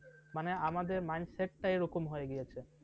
মানে আমাদের mind set ই এরকম হয়ে গিয়েছে।